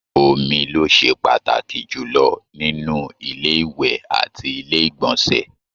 Omi ló ṣe pàtàkì jùlọ nínú ilé ìwẹ̀ àti ilé ìgbọ̀nsẹ̀